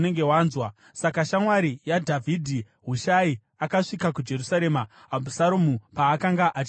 Saka shamwari yaDhavhidhi, Hushai, akasvika kuJerusarema Abhusaromu paakanga achipinda muguta.